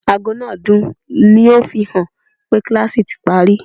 Aago náà dún, ó ń fi hàn pé kíláàsì ti parí